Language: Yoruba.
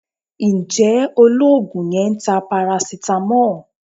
Ǹjẹ́ Olóògùn yẹn ń ta paracetamol?